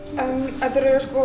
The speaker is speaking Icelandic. þetta er sko